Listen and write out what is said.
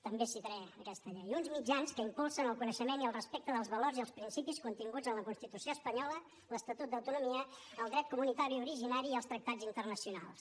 també citaré aquesta llei uns mitjans que impulsen el coneixement i el respecte dels valors i els principis continguts en la constitució espanyola l’estatut d’autonomia el dret comunitari originari i els tractats internacionals